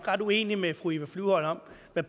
at